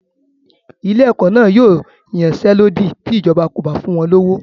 Ilé-ẹ̀kọ́ náà yóò yansẹ́lódì ti ìjọba kò bá fún wọn lówó.